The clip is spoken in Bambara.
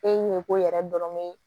E ɲɛko yɛrɛ dɔrɔn ye